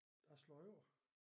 Jeg slå over